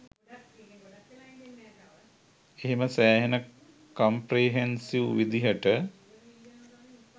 එහෙම සෑහෙන කම්ප්‍රෙහෙන්සිව් විදිහට